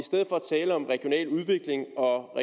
tale om regional udvikling og